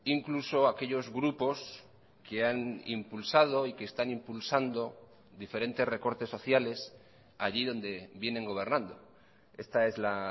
incluso aquellos grupos que han impulsado y que están impulsando diferentes recortes sociales allí donde vienen gobernando esta es la